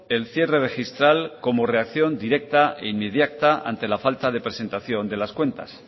el cierre registral como reacción directa e inmediata ante la falta de presentación de las cuentas